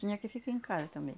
Tinha que ficar em casa também.